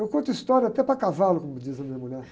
Eu conto história até para cavalo, como diz a minha mulher.